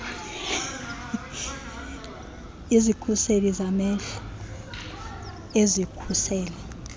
izikhuseli zamehlo ezikhusela